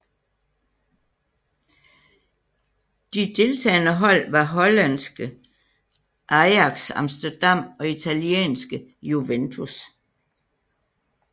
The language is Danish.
De deltagende hold var hollandske Ajax Amsterdam og italienske Juventus